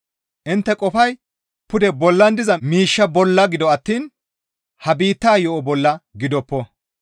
Intte qofay pude bollan diza miishsha bolla gido attiin ha biittaa yo7o bolla gidoppo.